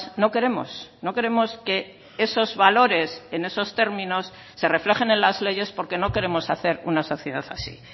no queremos no queremos que esos valores en esos términos se reflejen en las leyes porque no queremos hacer una sociedad así